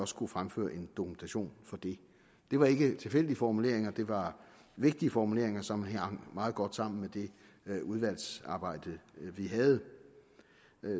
skulle fremføre en dokumentation for det det var ikke tilfældige formuleringer det var vigtige formuleringer som hang meget godt sammen med det udvalgsarbejde vi havde